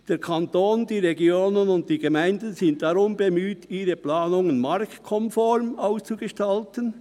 «Der Kanton, die Regionen und die Gemeinden sind darum bemüht, ihre Planungen marktkonform auszugestalten.